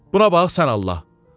Buna bax sən Allah.